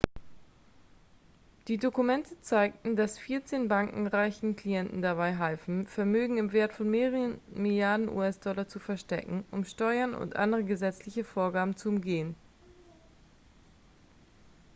die dokumente zeigten dass vierzehn banken reichen klienten dabei halfen vermögen im wert von mehreren milliarden us-dollar zu verstecken um steuern und andere gesetzliche vorgaben zu umgehen